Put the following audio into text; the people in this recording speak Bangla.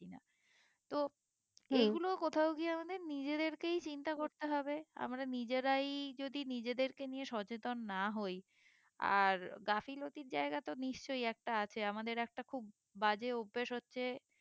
তো এইগুলো কোথাও গিয়ে আমাদের নিজেদের কেই চিন্তা করতে হবে আমরা নিজেরাই যদি নিজেদেরকে নিয়ে সচেতন না হই আর গাফিলতির জায়গা তো নিশ্চই একটা আছে আমাদের একটা খুব বাজে অভ্যেস হচ্ছে